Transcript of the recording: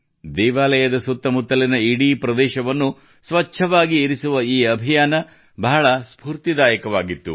ದೇವಾಲಯದ ಸುತ್ತ ಮುತ್ತಲಿನ ಇಡೀ ಪ್ರದೇಶವನ್ನು ಸ್ವಚ್ಛವಾಗಿ ಇರಿಸುವ ಈ ಅಭಿಯಾನ ಬಹಳ ಸ್ಫೂರ್ತಿದಾಯಕವಾಗಿತ್ತು